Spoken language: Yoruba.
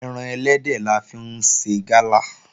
Ẹran ẹlẹ́dẹ̀ la fi ń ṣe Gala